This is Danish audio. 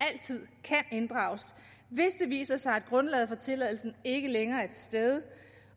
altid kan inddrages hvis det viser sig at grundlaget for tilladelsen ikke længere er til stede